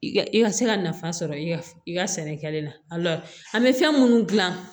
I ka i ka se ka nafa sɔrɔ i ka i ka sɛnɛkɛla la an bɛ fɛn minnu dilan